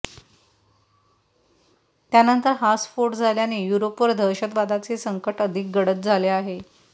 त्यानंतर हा स्फोट झाल्याने युरोपवर दहशतवादाचे संकट अधिक गडद झाले आहे